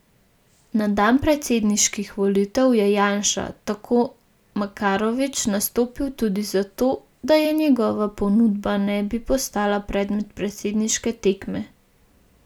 Na dan predsedniških volitev je Janša, tako Makarovič, nastopil tudi za to, da njegova pobuda ne bi postala predmet predsedniške tekme.